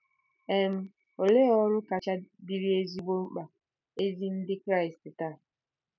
um Olee ọrụ kacha dịrị ezigbo mkpa ezi Ndị Kraịst taa?